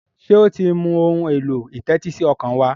ṣe o tí ń mú Ohun èlò ìtẹ́tísí ọkàn wá?